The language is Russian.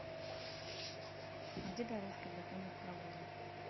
а где дорожка для конных прогулок